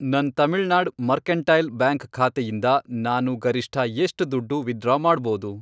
ನನ್ Tamil Nadu Mercantile Bank ಖಾತೆಯಿಂದ ನಾನು ಗರಿಷ್ಠ ಎಷ್ಟ್ ದುಡ್ಡು ವಿತ್ಡ್ರಾ ಮಾಡ್ಬೋದು?